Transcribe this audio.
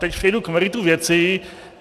Teď přejdu k meritu věci.